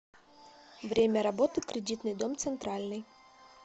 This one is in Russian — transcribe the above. время работы кредитный дом центральный